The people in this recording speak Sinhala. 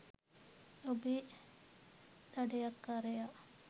ඔබේ දඩයක්කාරයා